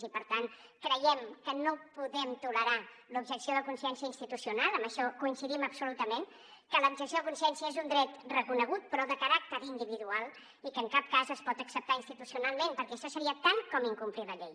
i per tant creiem que no podem tolerar l’objecció de consciència institucional en això coincidim absolutament que l’objecció de consciència és un dret reconegut però de caràcter individual i que en cap cas es pot acceptar institucionalment perquè això seria tant com incomplir la llei